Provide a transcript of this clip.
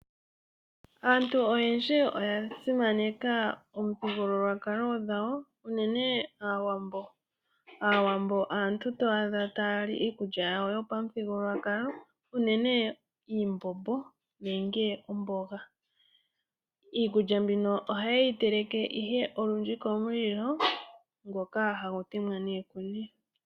Aantu oyendji oya simaneka omuthigululwakalo dhawo uunene aawambo. Aawambo aantu to adha taya li iikulya yawo yopamuthigululwakalo uunene iimbombo nenge omboga. Iikulya mbino oha ye yi teleke ihe olundji komulilo ngoka hagu temwa niikuni.